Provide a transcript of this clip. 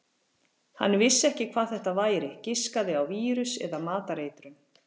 Hann vissi ekki hvað þetta væri, giskaði á vírus eða matareitrun.